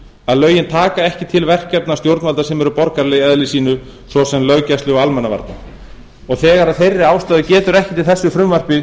að lögin taka ekki til stjórnvalda sem eru borgaraleg í eðli sínu svo sem löggæslu og almannavarna þegar af þeirri ástæðu getur ekkert í þessu frumvarpi